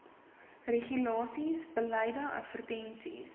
regulasies beleide advertensies